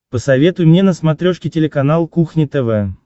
посоветуй мне на смотрешке телеканал кухня тв